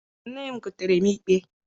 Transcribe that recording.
Nne m goteere m igbe.